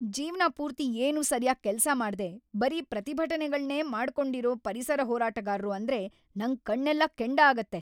ಜೀವ್ನ ಪೂರ್ತಿ ಏನೂ ಸರ್ಯಾಗ್‌ ಕೆಲ್ಸ ಮಾಡ್ದೇ ಬರೀ ಪ್ರತಿಭಟ್ನೆಗಳ್ನೇ ಮಾಡ್ಕೊಂಡಿರೋ ಪರಿಸರ ಹೋರಾಟಗಾರ್ರು ಅಂದ್ರೆ ನಂಗ್‌ ಕಣ್ಣೆಲ್ಲ ಕೆಂಡ ಆಗತ್ತೆ.